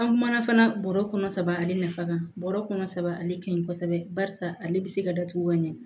An kumana fana bɔrɔ kɔnɔ saba ale nafa kan bɔrɛ kɔnɔ saba ale ka ɲi kosɛbɛ barisa ale bɛ se ka datugu ka ɲɛ